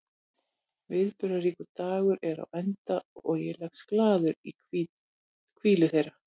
Viðburðaríkur dagur er á enda og ég leggst glaður í hvílu þeirra.